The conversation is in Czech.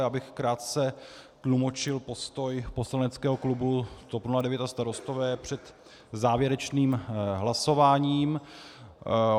Já bych krátce tlumočil postoj poslaneckého klubu TOP 09 a Starostové před závěrečným hlasováním.